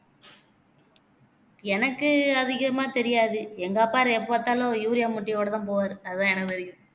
எனக்கு அதிகமா தெரியாது எங்க அப்பாரு எப்ப பார்த்தாலும் urea மூட்டையோடதான் போவாரு அதான் எனக்கு தெரியும்